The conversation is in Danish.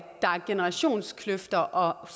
generationskløfter og